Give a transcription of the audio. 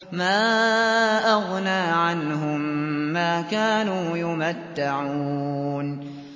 مَا أَغْنَىٰ عَنْهُم مَّا كَانُوا يُمَتَّعُونَ